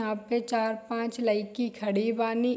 यहां पे चार-पांच लयकी खड़ी बानी।